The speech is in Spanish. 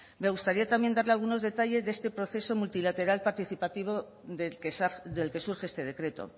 me gustaría también darle algunos detalles de este proceso multilateral participativo del que surge este decreto